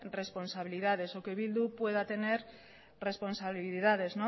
responsabilidades o que bildu pueda tener responsabilidades